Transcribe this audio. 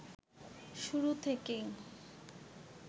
শুরু থেকেই